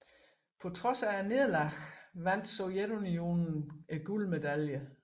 På trods af nederlaget vandt Sovjetunionen guldmedaljerne